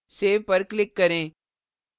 save पर click करें